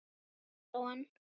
Snýr á hann.